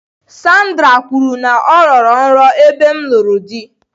Sandra kwuru na ya rọrọ nrọ ebe m lụrụ di.